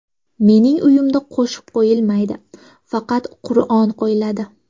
Mening uyimda qo‘shiq qo‘yilmaydi, faqat Qur’on qo‘yiladi.